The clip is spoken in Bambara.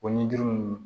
O ni duuru ninnu